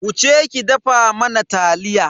Wuce ki dafa mana taliya.